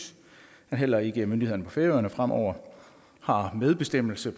at heller ikke myndighederne på færøerne fremover har medbestemmelse